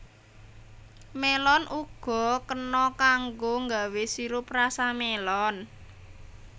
Mélon uga kena kanggo nggawé sirup rasa mélon